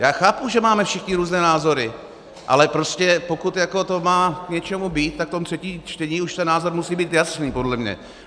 Já chápu, že máme všichni různé názory, ale prostě pokud to má k něčemu být, tak v tom třetím čtení už ten názor musí být jasný podle mě.